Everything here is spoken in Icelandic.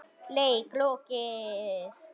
Leik lokið.